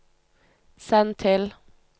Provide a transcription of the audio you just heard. send til